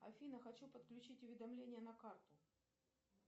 афина хочу подключить уведомление на карту